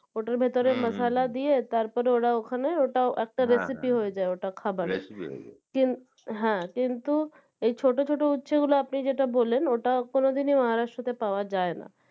ওটার ভেতোরে মাশালা দিয়ে তারপর ওখানে একটা recepie হয়ে যায় খাবারের কিন হ্যাঁ কিন্তু এই ছোটো ছোটো উচ্ছে গুলা আপনি যেটা বললেন ওটা কোনোদিনই Maharashtra তে পাওয়া যায়না।